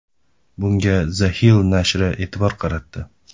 Bunga The Hill nashri e’tibor qaratdi.